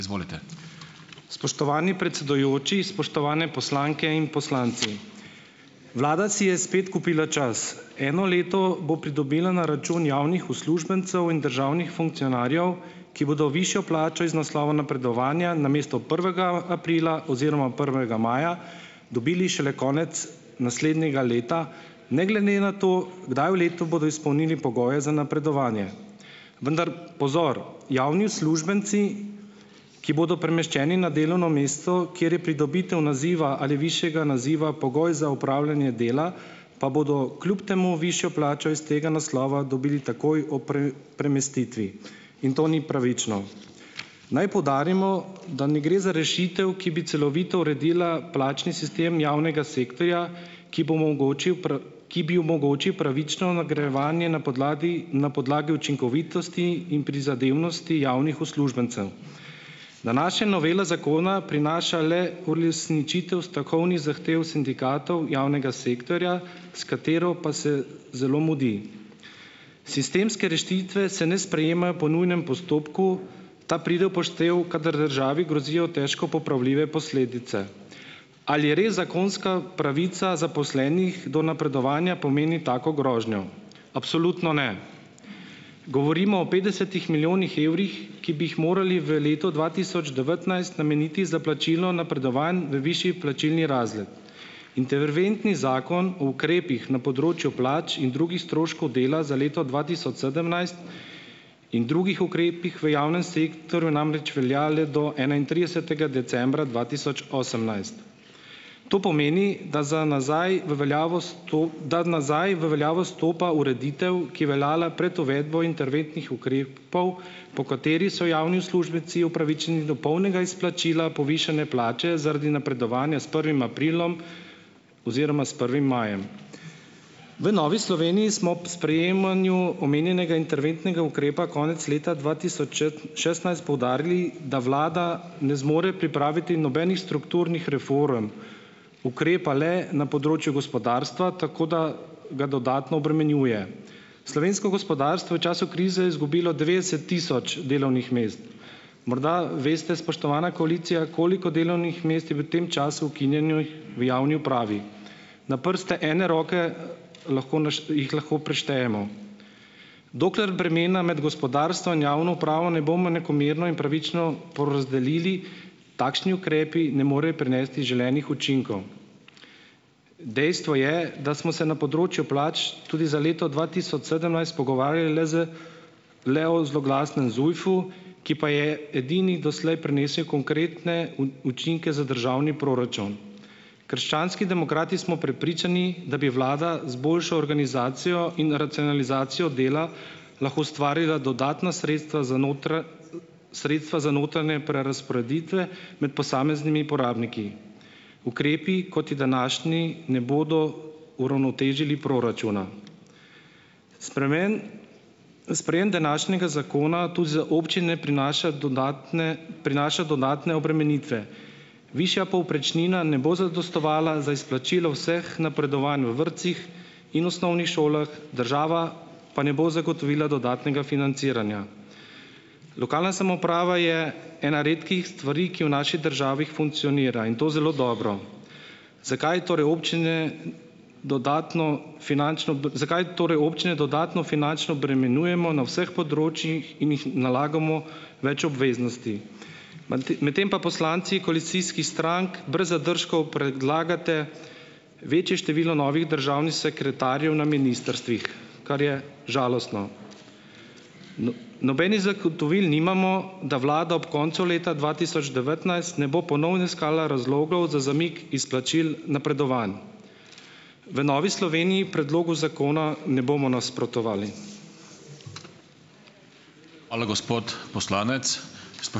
Spoštovani predsedujoči! Spoštovane poslanke in poslanci! Vlada si je spet kupila čas. Eno leto bo pridobila na račun javnih uslužbencev in državnih funkcionarjev, ki bodo višjo plačo iz naslova napredovanja namesto prvega aprila oziroma prvega maja, dobili šele konec naslednjega leta, ne glede na to, kdaj v letu bodo izpolnili pogoje za napredovanje. Vendar pozor! Javni uslužbenci, ki bodo premeščeni na delovno mesto, kjer je pridobitev naziva ali višjega naziva pogoj za opravljanje dela, pa bodo kljub temu višjo plačo iz tega naslova dobili takoj ob premestitvi. In to ni pravično. Naj poudarimo, da ne gre za rešitev, ki bi celovito uredila plačni sistem javnega sektorja, ki bo omogočil ki bi omogočil pravično nagrajevanje na podlagi, na podlagi učinkovitosti in prizadevnosti javnih uslužbencev. Današnja novela zakona prinaša le uresničitev stavkovnih zahtev sindikatov javnega sektorja, s katero pa se zelo mudi. Sistemske rešitve se ne sprejemajo po nujnem postopku, ta pride v poštev, kadar državi grozijo težko popravljive posledice. Ali res zakonska pravica zaposlenih do napredovanja pomeni tako grožnjo? Absolutno ne. Govorimo o petdesetih milijonih evrih, ki bi jih morali v letu dva tisoč devetnajst nameniti za plačilo napredovanj v višji plačilni razred. Interventni zakon o ukrepih na področju plač in drugih stroškov dela za leto dva tisoč sedemnajst in drugih ukrepih v javnem sektorju namreč velja le do enaintridesetega decembra dva tisoč osemnajst. To pomeni, da za nazaj v veljavo da nazaj v veljavo stopa ureditev, ki veljala prej uvedbo interventnih ukrepov, po kateri so javni uslužbenci upravičeni do polnega izplačila povišanja plače zaradi napredovanja s prvim aprilom oziroma s prvim majem. V Novi Sloveniji smo ob sprejemanju omenjenega interventnega ukrepa konec leta dva tisoč šestnajst poudarili, da vlada ne zmore pripraviti nobenih strukturnih reform. Ukrepa le na področju gospodarstva, tako da ga dodatno obremenjuje. Slovensko gospodarstvo je v času krize izgubilo devetdeset tisoč delovnih mest. Morda veste, spoštovana koalicija, koliko delovnih mest je v tem času ukinjenih v javni upravi? Na prste ene roke lahko jih lahko preštejemo. Dokler bremena med gospodarstvo in javno upravo ne bomo enakomerno in pravično porazdelili, takšni ukrepi ne morejo prinesti želenih učinkov. Dejstvo je, da smo se na področju plač tudi za leto dva tisoč sedemnajst pogovarjali le z le o zloglasnem ZUJF-u, ki pa je edini doslej prinesel konkretne učinke za državni proračun. Krščanski demokrati smo prepričani, da bi vlada z boljšo organizacijo in racionalizacijo dela, lahko ustvarila dodatna sredstva za sredstva za notranje prerazporeditve med posameznimi porabniki. Ukrepi, kot je današnji, ne bodo uravnotežili proračuna. Spremeni. Sprejem današnjega zakona tu za občine prinaša dodatne, prinaša dodatne obremenitve. Višja povprečnina ne bo zadostovala za izplačilo vseh napredovanj v vrtcih in osnovnih šolah, država pa ne bo zagotovila dodatnega financiranja. Lokalna samouprava je ena redkih stvari, ki v naši državi funkcionira in to zelo dobro. Zakaj torej občine, dodatno finančno zakaj torej občine dodatno finančno obremenjujemo na vseh področjih in jih nalagamo več obveznosti? Mante, medtem pa poslanci koalicijskih strank brez zadržkov predlagate večje število novih državnih sekretarjev na ministrstvih, kar je žalostno. No, nobenih zagotovil nimamo, da vlada ob koncu leta dva tisoč devetnajst ne bo ponovno iskala razlogov za zamik izplačil napredovanj. V Novi Sloveniji predlogu zakona ne bomo nasprotovali.